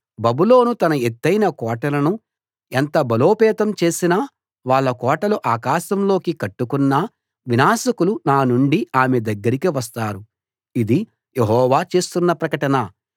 బబులోను తన ఎత్తయిన కోటలను ఎంత బలోపేతం చేసినా వాళ్ళ కోటలు ఆకాశంలోకి కట్టుకున్నా వినాశకులు నానుండి ఆమె దగ్గరికి వస్తారు ఇది యెహోవా చేస్తున్న ప్రకటన